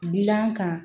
Dila an kan